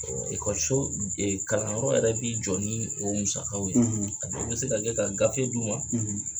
So kalanyɔrɔ yɛrɛ bi jɔ ni o musakaw ye a bɛ se ka kɛ ka gafe di u ma